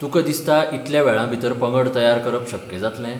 तुका दिसता इतल्या वेळांभीतर पंगड तयार करप शक्य जातलें?